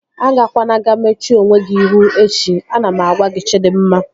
Agakwana ga-mechuo onwe gị ihu echi! Ana m agwa gị Chidimma